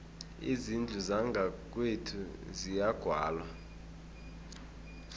izindlu zangakwethu ziyagwalwa